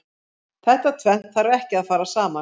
Þetta tvennt þarf ekki að fara saman.